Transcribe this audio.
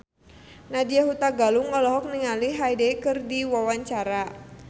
Nadya Hutagalung olohok ningali Hyde keur diwawancara